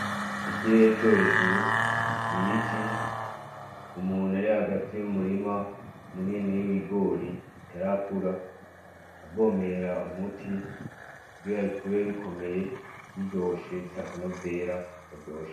Ikirere co hejuru, ibiti, umuntu ari hagati mu murima munini w’ibigori utarakura avomera umuti kugira bikure bikomeye ,biryoshe bifise akanovera karyoshe .